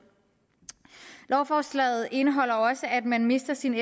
lovforslaget indeholder også at man mister sin